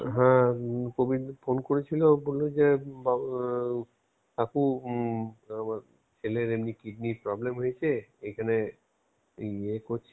হ্যাঁ প্রবীরদা phone করেছিল বল্লো যে বা~ কাকু উম আমার ছেলের এমনি কিডনীর problem হয়েছে এখানে এই ইয়ে করছি